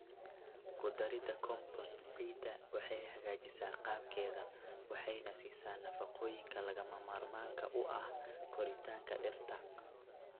Ku darida compost ciidda waxay hagaajisaa qaabkeeda waxayna siisaa nafaqooyinka lagama maarmaanka u ah koritaanka dhirta.